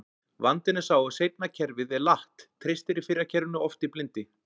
Vandinn er sá að seinna kerfið er latt, treystir fyrra kerfinu oft í blindni.